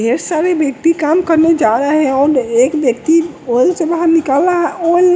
ढेर सारे व्यक्ति काम करने जा रहे हैं और एक व्यक्ति ऑयल से बाहर निकल रहा है ऑयल --